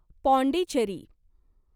Pondicherry